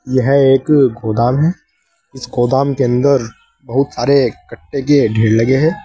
यह एक गोदाम है इस गोदाम के अंदर बहुत सारे कट्टे के ढेर लगे हैं।